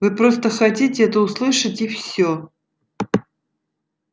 вы просто хотите это услышать и всё